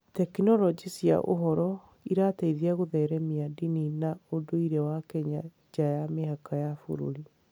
Tekinoronjĩ cia ũhoro irateithia gũtheremia ndini na ũndũire wa Kenya nja ya mĩhaka ya bũrũri.